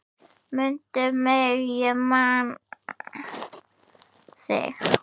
Mundu mig ég man þig.